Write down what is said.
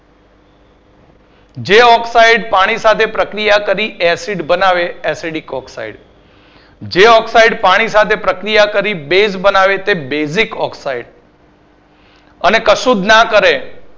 જે oxide પાણી સાથે પ્રક્રિયા કરી Acid બનાવે તે acidic oxide જે પાણી સાથે પ્રક્રિય કરી base બનાવે તે basic Oxide અને કશું જ ના કરે